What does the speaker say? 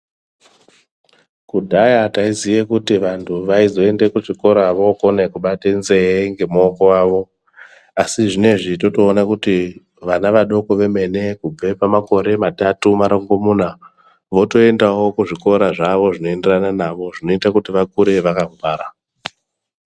Kudhaya taiziye kuti vantu vaizoende kuchikora okone kubate nzee ngemookonwavo asi zvinezvintotoone kuti vana vadoko vemenE kubve pamakore matatu marongomuna votoendawo kuzvikora zvawo zvinoenderana nawo zvinoite kuti vakure vakangwara.